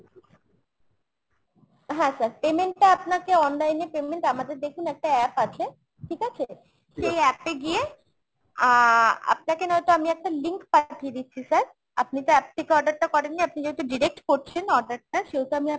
হ্যাঁ sir, payment টা আপনাকে online এ payment আমাদের দেখুন একটা app আছে ঠিক আছে ? সেই app এ গিয়ে আহ আপনাকে নয়তো আমি একটা link পাঠিয়ে দিচ্ছি sir। আপনি তো app থেকে order টা করেন নি আপনি যেহেতু direct করছেন order টা সেহেতু আমি আপনাকে